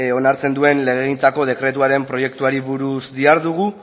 onartzen duen legegintzako dekretuaren proiektuari buruz dihardugu